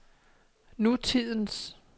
nutidens